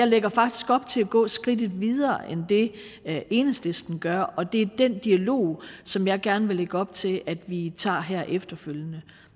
lægger faktisk op til at gå skridtet videre end det enhedslisten gør og det er den dialog som jeg gerne vil lægge op til at vi tager her efterfølgende